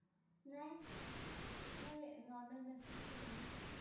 নাই , এই normal message টো কৰিম ।